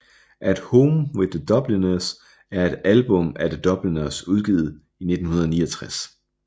At Home with The Dubliners er et album af The Dubliners udgivet i 1969